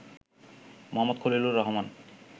Md. Khalilur Rahman